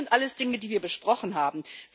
Das sind alles Dinge, die wir besprochen haben.